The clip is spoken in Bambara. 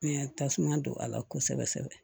Mɛ tasuma don a la kosɛbɛ kosɛbɛ